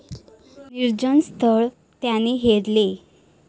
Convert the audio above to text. निर्जन स्थळ त्याने हेरले.